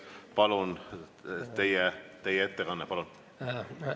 Palun, teie ettekanne!